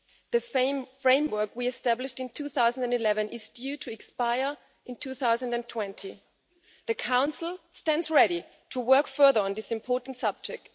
The framework we established in 2011 is due to expire in 2020. The Council stands ready to work further on this important subject.